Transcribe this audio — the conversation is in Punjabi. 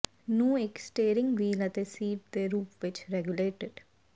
ਨੂੰ ਇੱਕ ਸਟੀਰਿੰਗ ਵੀਲ ਅਤੇ ਸੀਟ ਦੇ ਰੂਪ ਵਿੱਚ ਰੈਗੂਲੇਟਿਡ